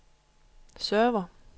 server